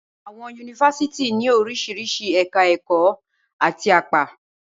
Awọn yunifasiti ni orisirisi èka-èkò ati apa